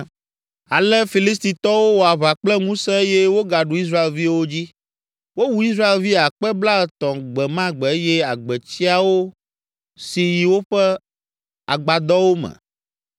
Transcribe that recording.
Ale Filistitɔwo wɔ aʋa kple ŋusẽ eye wogaɖu Israelviwo dzi. Wowu Israelvi akpe blaetɔ̃ gbe ma gbe eye agbetsiawo si yi woƒe agbadɔwo me.